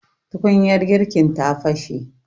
tukunyar girkin ta fashe